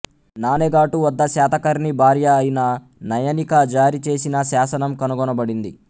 నానేఘాటు వద్ద శాతకర్ణి భార్య అయిన నయనికా జారీ చేసిన శాసనం కనుగొనబడింది